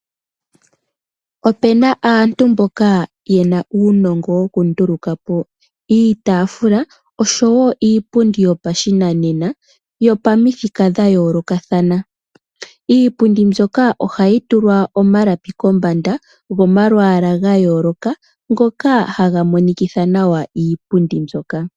Opena aantu mboka yena uunongo wokunduluka po iitaafula osho woo iipundi yopashinanena yopamuthika dhayoolokathana. Iipundi mbyoka ohayi tulwa omalapi kombanda gomalukalwa gayooloka ngoka haga monikitha nawa iipundi mbyoka.